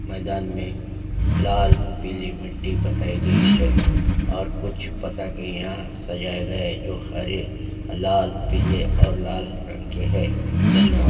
मैदान में लाल पीली मिट्टी बताई गई है और कुछ पता के यहाँ सजाया गया है जो हरे लाल पीले और लाल रंग के है धनयवाद।